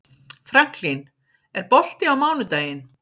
Franklin, er bolti á mánudaginn?